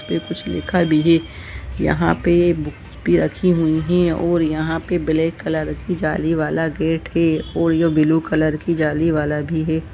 पे कुछ लिखा है यहा पे बुक भी रखी हुई है और यह पे ब्लैक कलर की जालीवाला गेट है और यह ब्लू कलर की जाली वाला भी है।